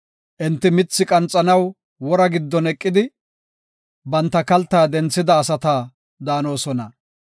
Enti mithi qanxanaw wora giddon eqidi, banta kalta denthida asata daanosona.